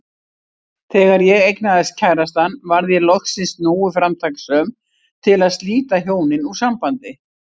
Þegar ég eignaðist kærastann varð ég loksins nógu framtakssöm til að slíta hjónin úr sambandi.